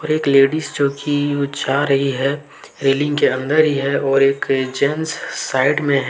एक लेडिस जो की जा रही है रेलिंग के अंदर ही है और एक जेंट्स साइड में है।